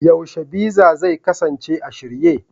yaushe Visa zai kasance a shirye?